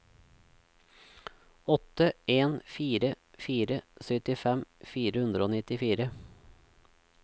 åtte en fire fire syttifem fire hundre og nittifire